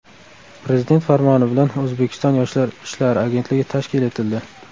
Prezident farmoni bilan O‘zbekiston Yoshlar ishlari agentligi tashkil etildi.